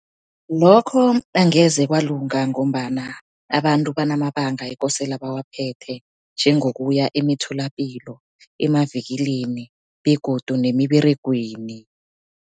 Lokho angeze kwalunga, ngombana abantu banamabanga ekosela bawaphethe njengokuya emitholapilo, emavikilini begodu nemiberegweni.